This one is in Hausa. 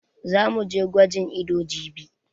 Za mu je gwajin ido jibi.